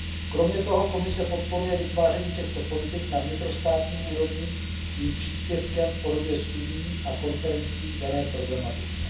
Kromě toho Komise podporuje vytváření těchto politik na vnitrostátní úrovni svým příspěvkem v podobě studií a konferencí k dané problematice.